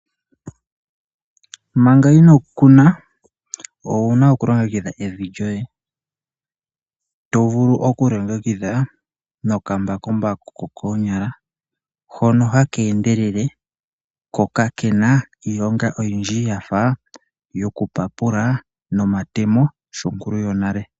Manga ino kuna owuna oku longekidha evi lyoye to vulu okuli longekidha nokambakumbaku kokoonyala hono haka endelele ko kakena iilonga oyindji yafa yoku papula nomatemo sho nkulu yonale.